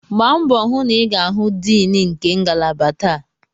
Gbaa mbọ hụ na ị ga-ahụ Dean nke ngalaba taa!